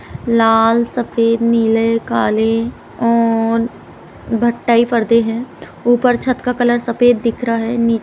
लाल सफेद नीले काले ऊन भट्टयी परदे हैं| ऊपर छत का कलर सफेद दिख रहा है। नी--